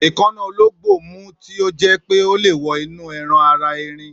èkáná olóńgbò mú tí o jé pé ọ lẹ wọ inú ẹran ara ẹrin